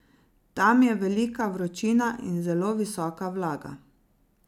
Tam je velika vročina in zelo visoka vlaga.